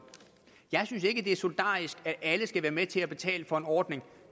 jeg synes ikke det er solidarisk at alle skal være med til at betale for en ordning